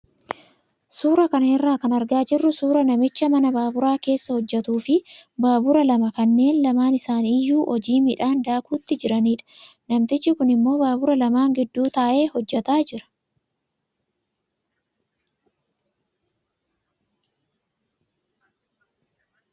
Suuraa kana irraa kan argaa jirru suuraa namicha mana baaburaa keessa hojjatuu fi baabura lama kanneen lamaan isaanii iyyuu hojii midhaan daakuutti jiranidha. Namtichi kun immoo baabura lamaan gidduu taa'ee hojjataa jira.